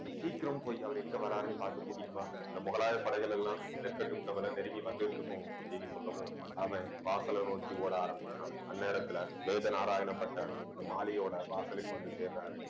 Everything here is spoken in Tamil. நீ சீக்கிரம் போய் அவர் எங்கே வர்றாருன்னு பார்த்து கூட்டிட்டு வா அந்த முகலாய படைகள் எல்லாம், நெற்கட்டும் செவ்வல் நெருங்கி வந்துட்டிருக்கும் அப்படின்னு சொல்லவும் அவன் வாசலை நோக்கி ஓட ஆரம்பிக்கிறான் அந்நேரத்துல வேதநாராயண பட்டர் அந்த மாலையோட வாசலுக்கு வந்து சேருறாரு